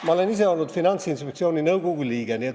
Ma olen ise olnud Finantsinspektsiooni nõukogu liige.